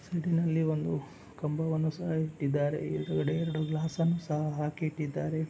ಸೈಡಿನಲ್ಲಿ ಒಂದು ಕಂಬವನ್ನು ಸಹ ಇಟ್ಟಿದ್ದರೆ ಎದರುಗಡೆ ಎರಡು ಗ್ಲಾಸ್ ಸಹ ಅನ್ನು ಹಾಕಿ ಇಟ್ಟಿದ್ದಾರೆ.